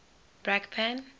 brakpan